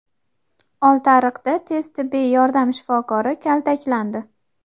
Oltiariqda tez tibbiy yordam shifokori kaltaklandi.